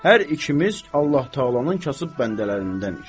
Hər ikimiz Allah Təalanın kasıb bəndələrindənik.